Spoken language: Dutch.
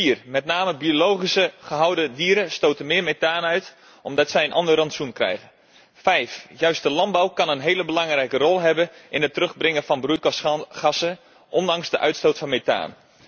Vier met name biologisch gehouden dieren stoten meer methaan uit omdat zij een ander rantsoen krijgen. Vijf juist de landbouw kan een heel belangrijke rol vervullen in het terugdringen van broeikasgassen, ondanks de uitstoot van methaan.